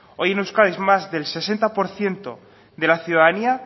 hoy en euskadi es más del sesenta por ciento de la ciudadanía